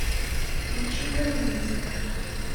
включи граница